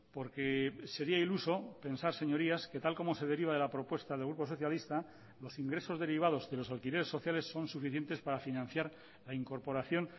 porque sería iluso pensar señorías que tal como se deriva de la propuesta del grupo socialista los ingresos derivados de los alquileres sociales son suficientes para financiar la incorporación